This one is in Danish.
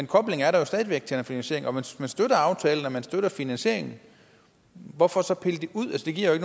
koblingen er der jo stadig væk til den finansiering for man støtter aftalen og man støtter finansieringen hvorfor så pille det ud det giver jo